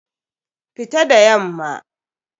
Fita da yamma!